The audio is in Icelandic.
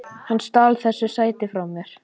Hann stal þessu sæti frá mér!